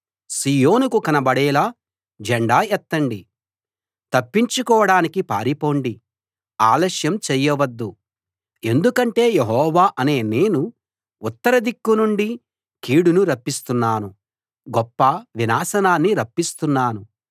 సీయోనుకు కనబడేలా జెండా ఎత్తండి తప్పించుకోడానికి పారిపోండి ఆలస్యం చేయొద్దు ఎందుకంటే యెహోవా అనే నేను ఉత్తరదిక్కు నుండి కీడును రప్పిస్తున్నాను గొప్ప వినాశనాన్ని రప్పిస్తున్నాను